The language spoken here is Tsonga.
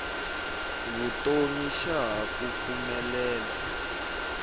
vutomi xa ha ku pfumelela